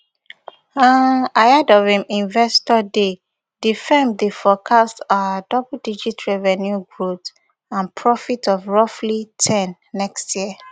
um ahead of im investor day di firm dey forecast um double digit revenue growth and profits of roughly ten next year